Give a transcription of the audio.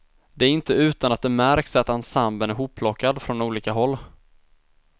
Det är inte utan att det märks att ensemblen är hopplockad från olika håll.